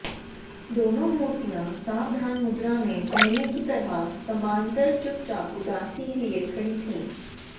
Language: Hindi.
दोनों मूर्तियां सावधान मुद्रा में पहले की तरह समांतर चुपचाप उदासी लिए खड़ी थीं